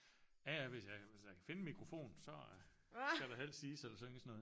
Ja ja hvis jeg hvis jeg kan finde en mikrofon så skal der helst siges eller synges noget